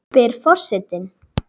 spyr for- setinn.